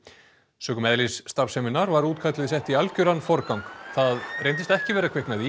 sökum eðlis starfseminnar var útkallið sett í algjöran forgang það reyndist ekki vera kviknað í